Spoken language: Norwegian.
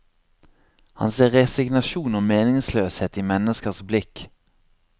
Han ser resignasjon og meningsløshet i menneskers blikk.